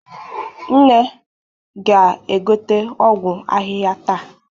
Nne ga-egote ọgwụ ahịhịa taa.